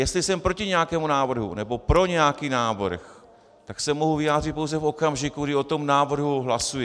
Jestli jsem proti nějakému návrhu nebo pro nějaký návrh, tak se mohu vyjádřit pouze v okamžiku, kdy o tom návrhu hlasuji.